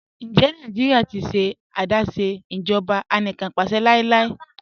Ǹjẹ Nàìjíríà ti ṣẹ̀ adásé ìjọba ànìkànpàṣẹ̀ láíláí?